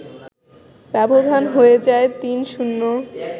ব্যবধান হয়ে যায় ৩-০